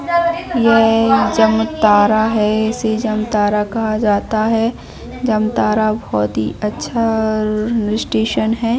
यह जामताड़ा है इसे जामताड़ा कहा जाता है जामताड़ा बहुत ही अच्छा स्टैट्शन है।